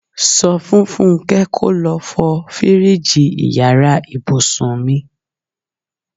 Sọ fún Fúnké kò lọ fọ fíríìjiì ìyára ibùsùn mi.